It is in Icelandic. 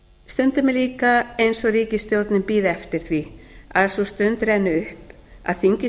er líka eins og ríkisstjórnin bíði eftir því að sú stund renni upp að þingið